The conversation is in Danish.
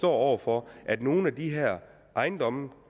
over for at nogle af de her ejendomme